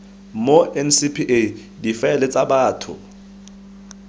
mo ncpa difaele tsa batho